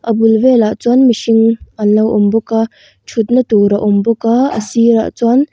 a bul velah chuan mihring an lo awm bawk a ṭhutna tur a awm bawk a a sirah chuan--